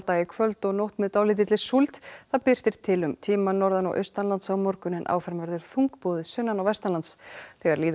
í kvöld og nótt með dálítilli súld það birtir til um tíma norðan og austanlands á morgun en áfram verður þungbúið sunnan og vestanlands þegar líður á